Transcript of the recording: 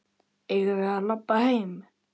Eigum við að labba heim?